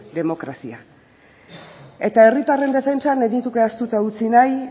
demokrazia eta herritarren defentsan ez nuke ahaztuta utzi nahi